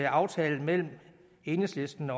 aftalen mellem enhedslisten